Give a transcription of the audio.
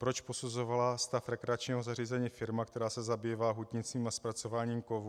Proč posuzovala stav rekreačního zařízení firma, která se zabývá hutnictvím a zpracováním kovů?